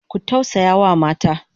Ku tausayawa mata!